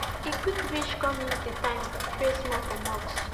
he quick reach come use the time pray small for mosque